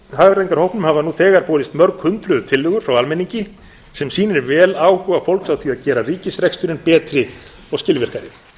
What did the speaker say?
hagræðingarhópnum hafa nú þegar borist mörg hundruð tillögur frá almenningi sem sýnir vel áhuga fólks á því að gera ríkisreksturinn betri og skilvirkari